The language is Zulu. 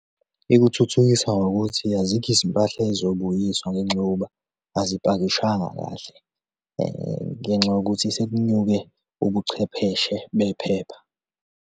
Ikuthuthukisa ngokuthi azikho izimpahla ey'zobuyiswa ngenxa yokuba azipakishwanga kahle ngenxa yokuthi sekunyuke ubuchwepheshe bephepha.